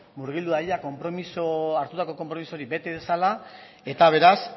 murgildu dadila hartutako konpromiso hori bete dezala eta beraz